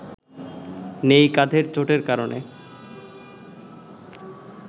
নেই কাঁধের চোটের কারণে